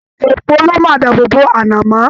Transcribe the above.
Èèpo lo máa dáàbò bò anamọ.